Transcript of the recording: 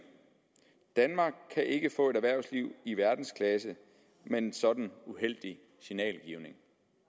danmark kan ikke få et erhvervsliv i verdensklasse med sådan en uheldig signalgivning